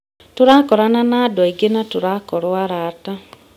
Tũrakorana na andũ angĩ na tũrakorwo arata.